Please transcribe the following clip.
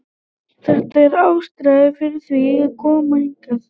Þetta er ástæðan fyrir því að ég kom hingað.